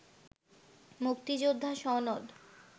মুক্তিযোদ্ধা সনদ